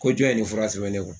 Ko jɔn ye nin fura sɛbɛn ne kun?